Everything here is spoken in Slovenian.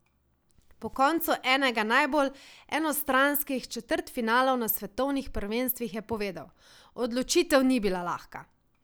Po koncu enega najbolj enostranskih četrtfinalov na svetovnih prvenstvih je povedal: "Odločitev ni bila lahka.